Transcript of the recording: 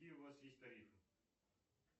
какие у вас есть тарифы